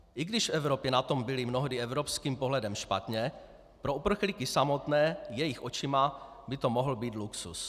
I když v Evropě na tom byli mnohdy evropským pohledem špatně, pro uprchlíky samotné jejich očima by to mohl být luxus.